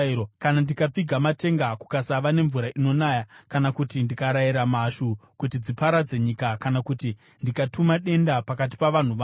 “Kana ndikapfiga matenga kukasava nemvura inonaya, kana kuti ndikarayira mhashu kuti dziparadze nyika kana kuti ndikatuma denda pakati pavanhu vangu,